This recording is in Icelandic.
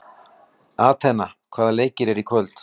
Atena, hvaða leikir eru í kvöld?